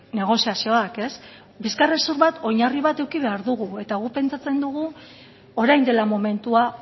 negoziazioak bizkarrezur bat oinarri bat eduki behar dugu eta guk pentsatzen dugu orain dela momentua